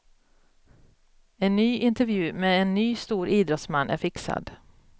En ny intervju med en ny stor idrottsman är fixad.